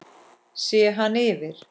Sé hann yfir